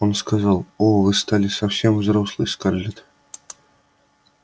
он сказал о вы стали совсем взрослой скарлетт